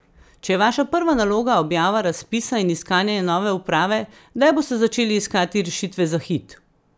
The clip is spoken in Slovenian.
Če je vaša prva naloga objava razpisa in iskanje nove uprave, kdaj boste začeli iskati rešitve za Hit?